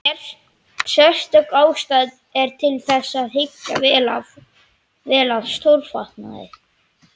Sérstök ástæða er til þess að hyggja vel að skófatnaði.